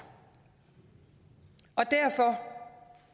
og derfor